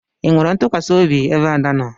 Ị nwere ntukwasiobi ebe Ada nọ?